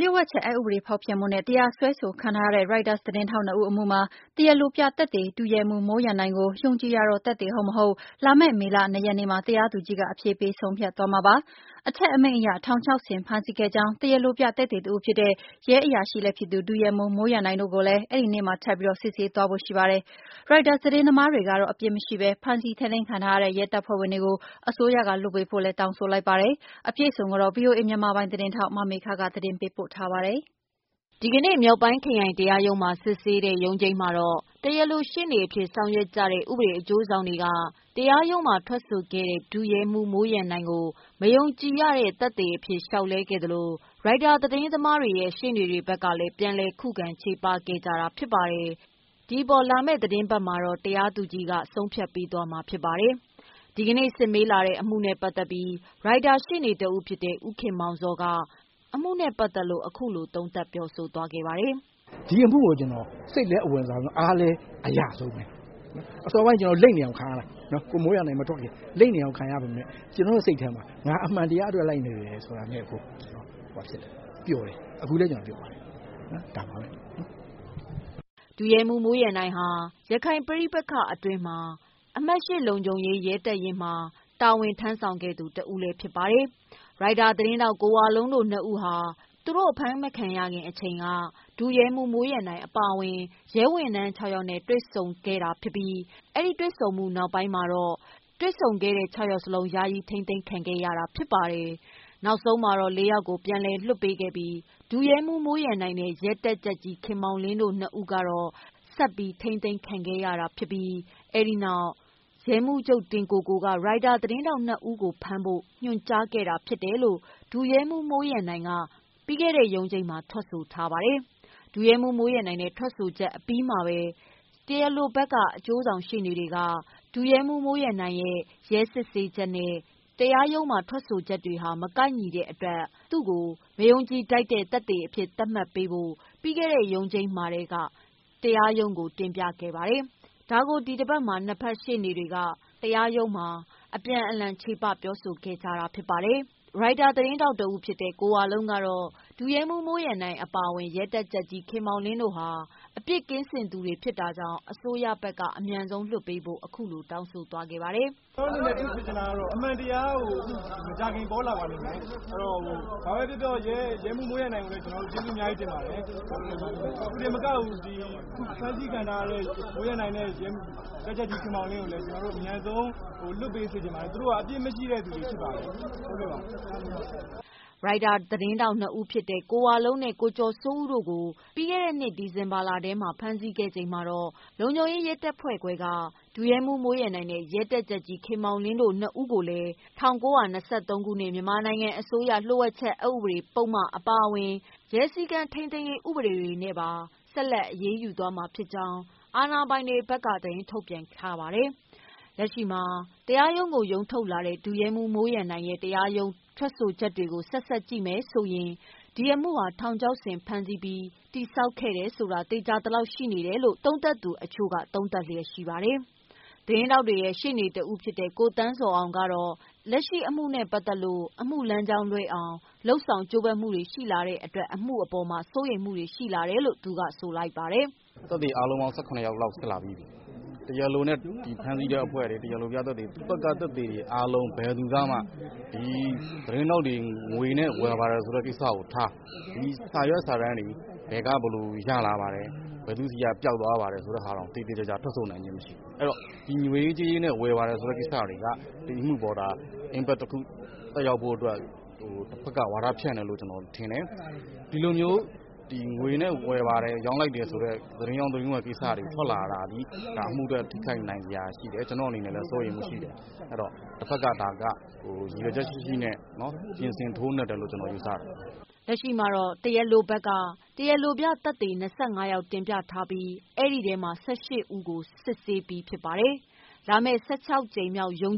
လျှို့ဝှက်ချက် ဥပဒေ ဖောက်ဖျက်မှုနဲ့ တရားစွဲခံထားရတဲ့ Reuters သတင်းထောက် ၂ ဦးအမှု မှာတရားလိုပြသက်သေ ဒုရဲမှူး မိုးရန်နိုင်ကို မယုံကြည် ရသော သက်သေ ဖြစ်မဖြစ် လာမယ့် မေ ရက်နေ့မှာ တရားသူကြီးက အဖြေပေးဆုံးဖြတ်သွားမှာပါ။ အထက်အမိန့်အရ ထောင်ချောက်ဆင် ဖမ်းဆီးခဲ့ကြောင်း တရားလိုပြသက်သေ တဦးဖြစ်တဲ့ ဒုရဲမှူး မိုးရန်နိုင်ကိုလည်း အဲဒီနေ့မှာ ထပ်ပြီးစစ်ဆေးသွားဖို့ ရှိပါတယ်။ Reuters သတင်းသမားတွေကတော့ အပြစ်မရှိဘဲ ဖမ်းဆီးထိန်းသိမ်းခံထားရတဲ့ ရဲတပ်ဖွဲ့ဝင်တွေကို အစိုးရကလွှတ်ပေးဖို့ တောင်းဆိုလိုက်ပါတယ်။ အပြည့်အစုံကိုတော့ တရားရုံးကို ကိုယ်တိုင်သွားရောက်သတင်းယူခဲ့တဲ့ ဗွီအိုအေမြန်မာပိုင်း သတင်းထောက် မေခက သတင်းပေးပို့ထားပါတယ်။ ဒီကနေ့ ရန်ကုန်တိုင်း၊ မြောက်ပိုင်းခရိုင်တရားရုံးမှာ စစ်ဆေးတဲ့ ရုံးချိန်းမှာ တရားလို ရှေ့နေအဖြစ် ဆောင်ရွက်နေတဲ့ ဥပဒေအကျိုးဆောင်က တရားရုံးမှာ ထွက်ဆိုခဲ့တဲ့ ဒုရဲမှူး မိုးရန်နိုင်ကို မယုံကြည်ရသော သက်သေ အဖြစ် လျောက်လဲခဲ့သလို Reuters ရှေ့နေတွေ ဘက်ကလည်း ပြန်လည် ခုခံချေပခဲ့ကြတာဖြစ်ပါတယ်။ ဒီအပေါ်လာမယ့် အပတ်မှာ တရားသူကြီးကအဖြေပေးမှာဖြစ်ပါတယ်။ ဒီကနေ့စစ်မေးလာတဲ့ အမှုနဲ့ပတ်သတ်ပြီး ရိုက်တာရှေ့နေတဦး ဖြစ်တဲ့ ဦးခင်မောင်ဇော်ကတော့ ဒီအမှုလိုက်တာနဲ့ပတ်သတ်လို့ အခုလိုပြောဆိုသွားပါတယ်။ "ဒီအမှုကို ကျနော် စိတ်လဲအဝင်စားဆုံး၊ အားလည်းအရဆုံးပဲ။ အစောပိုင်း ကျနော်တို့ လိမ့်နေအောင် ခံရတာ။ ကိုမိုးရန်နိုင်မထွက်ခင်။ လိမ့်နေအောင်ခံရပေမယ့် ကျနော်တို့စိတ်ထဲမှာ ငါအမှန်တရားအတွက် လိုက်နေတယ်ဆိုတာနဲ့ကို ကျနော်ပျော်တယ်။ အခုလည်း ကျနော်ပျော်ပါတယ်။" ဒုရဲမှူး မိုးရန်နိုင်ဟာ ရခိုင်ပဋိပက္ခအတွင်း အမှတ် လုံခြုံရေး ရဲတပ်ရင်း ကို တာဝန်ယူခဲ့ရသူတဦး ဖြစ်ပါတယ်။ရိုက်တာသတင်းထောက် ကိုဝလုံးတို့ နှစ်ယောက်ဟာ သူတို့ အဖမ်းမခံရခင် အချိန်က ရဲမှူး မိုးရန်နိုင်အပါအဝင် ရဲဝန်ထမ်း ယောက်နဲ့ တွေ့ဆုံခဲ့တာဖြစ်ပြီး အဲဒီတွေ့ဆုံမှု အပြီး တွေ့ဆုံခဲ့တဲ့ ယောက်လုံး ယာယီ ထိမ်းသိမ်းခံခဲ့ရတာဖြစ်ပါတယ်။ နောက်တော့ ယောက်ကို ပြန်လွှတ်ပေးခဲ့ပြီး ဒုရဲမှူးမိုးရန်နိုင်နဲ့ ရဲတပ်ကြပ်ကြီး ခင်မောင်လင်းတို့ နှစ်ယောက်ကို ဆက်ပြီး ချုပ်နှောင်ထားခံခဲ့ရပြီး နောက်မှာ ရဲမှူးချုပ် တင်ကိုကိုက ရိုက်တာ သတင်းထောက် နှစ်ယောက်ကို ဖမ်းဖို့ ညွှန်ကြားခဲ့တယ်လို့ ဒုရဲမှူး မိုးရန်နိုင်က ပြီးခဲ့တဲ့ ရုံးချိန်းမှာ ထွက်ဆိုထားပါတယ်။ ဒုရဲမှူးမိုးရန်နိုင်ရဲ့ ထွက်ဆိုချက်အပြီးမှာပဲ ဥပဒေအရာရှိက ရဲစစ်ဆေးချက်နဲ့ တရားရုံးမှာ ထွက်ဆိုချက် မကိုက်ညီတဲ့အတွက် မယုံကြည်ထိုက်တဲ့ သက်သေအဖြစ် သတ်မှတ်ဖို့ ပြီးခဲ့တဲ့ ရုံးချိန်းမှာလျှောက်လဲခဲ့တာပါ။ ဒါကို ဒီကနေ့ ရုံးချိန်မှာ နှစ်ဖက်ချေပပြောဆိုခဲ့ကြတာဖြစ်ပါတယ်။ ရိုက်တာသတင်းထောက် ကိုဝလုံးကတော့ ဒုရဲမှူး မိုးရန်နိုင်အပါအဝင် ရဲတပ်ကြပ်ကြီး ခင်မောင်လင်းတို့ဟာ အပြစ်ကင်းသူတွေဖြစ်လို့ အစိုးရဘက်ကအမြန်ဆုံးလွှတ်ပေး ဖို့တောင်းဆိုလိုက်ပါတယ်။ "ကျနော်အနေနဲ့ ဖြစ်စေချင်တာကတော့ အမှန်တရား မကြာခင်ပေါ်လာပါလိမ့်မယ်။ ဘာပဲပြောပြော ရဲမှူး မိုးရန်နိုင်ကိုလည်း ကျနော်တို့ ကျေးဇူးအများကြီးတင်ပါတယ်။ သူတင်မကဘူး ဖမ်းဆီးခံထားရတဲ့ တပ်ကြပ်ကြီး ခင်မောင်လင်းကိုလည်း အမြန်ဆုံး ပြန်လွှတ်ပေးစေချင်ပါတယ်။ သူတို့က အပြစ်မရှိတဲ့သူတွေဖြစ်ပါတယ်။" ရိုက်တာသတင်းထောက် ၂ ဦးဖြစ်တဲ့ ကိုဝလုံးနဲ့ ကိုကျော်စိုးဦးတို့ကို ပြီးခဲ့တဲ့နှစ် ဒီဇင်ဘာလထဲ ဖမ်းဆီးခဲ့ချိန်မှာတော့ လုံခြုံရေးရဲတပ်ဖွဲ့ခွဲက ဒုရဲမှူး မိုးရန်နိုင်နဲ့ ရဲတပ်ကြပ်ကြီး ခင်မောင်လင်းတို့ ၂ ဦးကိုလည်း ၁၉၂၃ ခုနှစ်၊ မြန်မာနိုင်ငံအစိုးရ လျှို့ဝှက်ချက် အက်ဥပဒေပုဒ်မ၊ ရဲစည်းကမ်းထိန်းသိမ်းရေး ဥပဒေတွေနဲ့ အရေးယူမှာ ဖြစ်ကြောင်း အာဏာပိုင်တွေက သတင်းထုတ်ပြန်ခဲ့တာပါ။ လက်ရှိမှာတော့ တရားရုံးကို ရုံးထုတ်လာတဲ့ ဒုရဲမှူး မိုးရန်နိုင်ရဲ့ တရားရုံးမှာ ထွက်ဆိုချက်တွေကို ဆက်စပ်ကြည့်လိုက်ရင် ဒီ အမှုဟာ ထောင်ချောက်ဆင် ဖမ်းဆီးပြီး တည်ဆောက်ခဲ့တယ် ဆိုတာ သေခြာသလောက် ဖြစ်နေတယ်လို့ သုံးသပ်မှုတွေရှိနေပါတယ်။ သတင်းထောက်တွေရဲ့ ရှေ့နေ တဦးဖြစ်တဲ့ ကိုသန်းဇော်အောင်ကတော့ လက်ရှိ အမှုနဲ့ပတ်သတ်လို့ အမှုလမ်းကြောင်းလွဲအောင် လုပ်ဆောင်ကြိုးပမ်းလာမှုတွေ ရှိလာ တဲ့အတွက် အမှုနဲ့ပတ်သတ်လို့ စိုးရိမ်ပူပန်မှုတွေ ရှိလာတယ်လို့ ဆိုလိုက်ပါတယ်။ "သက်သေအားလုံးပေါင်း ယောက်လောက် စစ်လာပြီးပြီ။ တရားလိုနဲ့ ဖမ်းဆီးတဲ့အဖွဲ့တွေ၊ တရားလိုပြသက်သေတွေ သူတို့ဘက်က သက်သေတွေအားလုံး ဘယ်သူကမှ ဒီသတင်းထောက်တွေ ငွေနဲ့ ဝယ်ပါတယ်ဆိုတဲ့ ကိစ္စကိုထား ဒီစာရွက်စာတမ်းတွေ ဘယ်က ဘယ်လိုရလာပါတယ်၊ ဘယ်သူဆီက ပျောက်သွားပါတယ်ဆိုတဲ့ဟာတောင် သေသေချာချာ ထွက်ဆိုနိုင်ခြင်းမရှိဘူး။ အဲတော့ ငွေရေးကြေးရေးနဲ့ ဝယ်ပါတယ်ဆိုတဲ့ကိစ္စတွေက ဒီအမှုကို တစုံတရာသက်ရောက်ဖို့အတွက် တဖက်က ဝါဒဖြန့်တယ်လို့ ကျနော်ထင်တယ်။ ဒီလိုမျိုး ငွေနဲ့ ဝယ်ပါတယ်၊ ရောင်းလိုက်တယ်ဆိုတဲ့ သတင်းရောင်း၊ သတင်းဝယ်ကိစ္စတွေ ထွက်လာတာသည် အမှုအတွက် ထိခိုက်နိုင်စရာရှိတယ်။ ကျနော်အနေနဲ့လည်း စိုးရိမ်မှုရှိတယ်။ တဖက်က ရည်ရွယ်ချက်ရှိရှိနဲ့ ပြင်ဆင် ထိုးနှက်တယ်လို့ ကျနော်ယူဆတယ်။" လက်ရှိမှာ တရားလိုပြသက်သေ ၂၅ ယောက်တင်ပြထားခဲ့ပြီးတော့ ၁၈ ယောက်ကို စစ်ဆေးပြီးဖြစ်ပါတယ်။ လာမယ့် ၁၆ကြိမ်မြောက် ရုံး